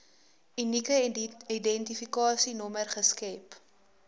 unieke identifikasienommer geskep